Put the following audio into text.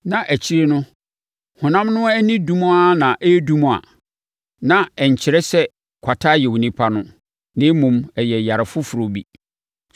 na akyire no, honam no ani dum ara na ɛredum a, na ɛnkyerɛ sɛ kwata ayɛ onipa no, na mmom, ɛyɛ yare foforɔ bi.